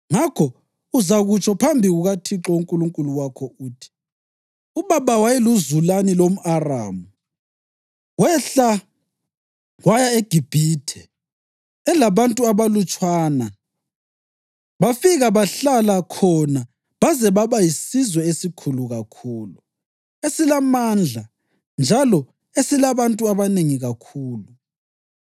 Ngakho uzakutsho phambi kukaThixo uNkulunkulu wakho uthi: ‘Ubaba wayeluzulani lomʼAramu, wehla waya eGibhithe elabantu abalutshwana bafika bahlala khona baze baba yisizwe esikhulu kakhulu, esilamandla njalo esilabantu abanengi kakhulu.